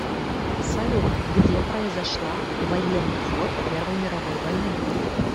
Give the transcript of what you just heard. салют где произошла военный флот первой мировой войны